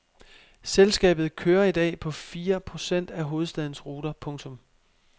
Selskabet kører i dag på fire procent af hovedstadens ruter. punktum